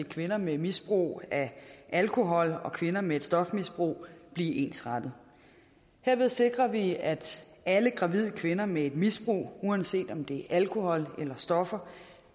kvinder med misbrug af alkohol og kvinder med et stofmisbrug blive ensrettet herved sikrer vi at alle gravide kvinder med et misbrug uanset om det er alkohol eller stoffer